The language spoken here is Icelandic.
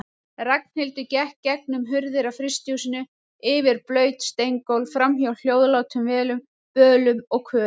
Ragnhildur gekk gegnum hurðir á frystihúsum, yfir blaut steingólf, framhjá hljóðlátum vélum, bölum og körum.